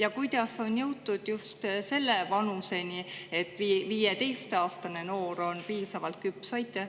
Ja kuidas on jõutud just selle vanuseni,, et 15‑aastane noor on piisavalt küps?